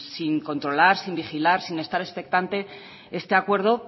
sin controlar sin vigilar sin estar expectante este acuerdo